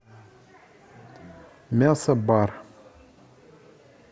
мясобар